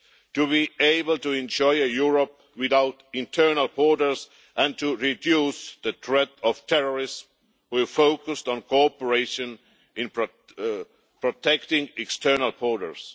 To be able to enjoy a Europe without internal borders and to reduce the threat of terrorists we are focused on cooperation in protecting our external borders.